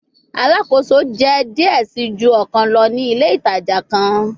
Alakoso jẹ diẹ sii ju ọkan lọ ni ile itaja kan